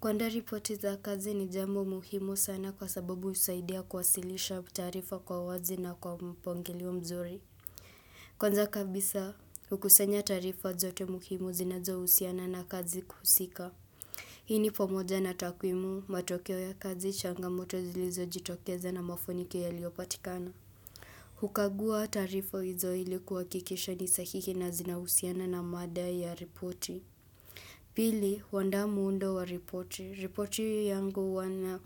Kuandaa ripoti za kazi ni jambo muhimu sana kwa sababu husaidia kuwasilisha taarifa kwa wazi na kwa mpangilio mzuri. Kwanza kabisa, hukusanya taarifa zote muhimu zinazohusiana na kazi husika. Hii ni pamoja na takwimu, matokeo ya kazi, changamoto zilizojitokeza na mafanikio yaliopatikana. Hukagua taarifa hizo ili kuhakikisha ni sahihi na zinahusiana na mada ya ripoti. Pili, huandaa muundo wa ripoti. Ripoti yangu huwa na